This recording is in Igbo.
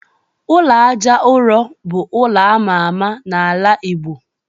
Ụlọ Àjà ụrọ bu ụlọ ama ama n'ala igbo